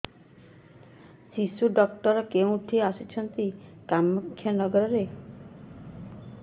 ଶିଶୁ ଡକ୍ଟର କୋଉଠି ଅଛନ୍ତି କାମାକ୍ଷାନଗରରେ